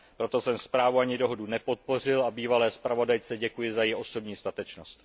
Proto jsem zprávu ani dohodu nepodpořil a bývalé zpravodajce děkuji za její osobní statečnost.